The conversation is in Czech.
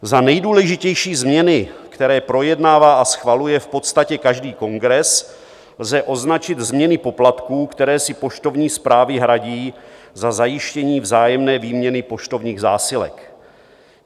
Za nejdůležitější změny, které projednává a schvaluje v podstatě každý kongres, lze označit změny poplatků, které si poštovní správy hradí za zajištění vzájemné výměny poštovních zásilek.